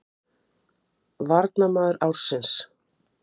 Hún leit undir rúmið, fór síðan yfir í hitt herbergið og opnaði skápinn.